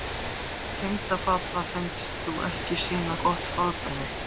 Tengdapabba finnst þú ekki sýna gott fordæmi.